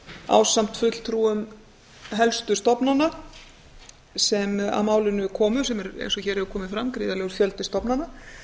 ásamt fulltrúum helstu stofnana sem að málinu komu sem eins og hér hefur komið fram gríðarlegur fjöldi stofnana